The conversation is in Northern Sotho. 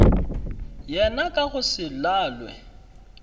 yena ka go se lalwe